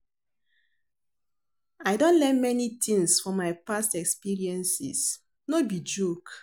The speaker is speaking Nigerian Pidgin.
I don learn many tings for my past experiences, no be joke.